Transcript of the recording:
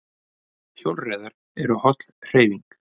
Hjólreiðar eru holl hreyfing